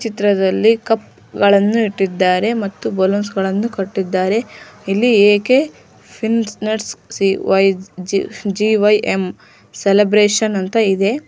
ಚಿತ್ರದಲ್ಲಿ ಕಪ್ಗಳನ್ನು ಇಟ್ಟಿದ್ದಾರೆ ಮತ್ತು ಬಲೂನ್ಸ್ ಗಳನ್ನೂ ಕಟ್ಟಿದ್ದಾರೆ ಇಲ್ಲಿ A K fitness C Y G Y M celebration ಅಂತ ಇದೆ.